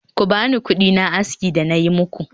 Ku bani kudina aski da nayi muku